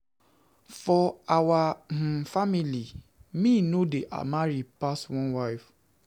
For our um family, me no dey marry pass one wife.